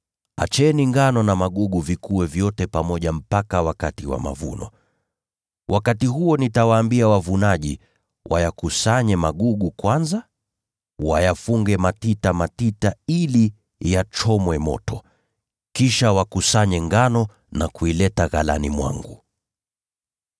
Acheni ngano na magugu vikue vyote pamoja mpaka wakati wa mavuno. Wakati huo nitawaambia wavunaji wayakusanye magugu kwanza, wayafunge matita matita ili yachomwe moto; kisha wakusanye ngano na kuileta ghalani mwangu.’ ”